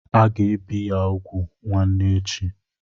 Aga ebi ya úgwù nwanne echi.